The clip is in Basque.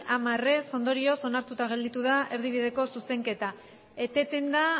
hamar ez ondorioz onartuta gelditu da erdibideko zuzenketa eteten da